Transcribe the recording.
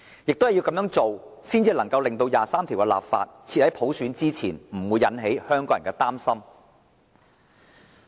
只有這樣做，才能令第二十三條的立法先於實現普選之前，而不會引起香港人的擔心。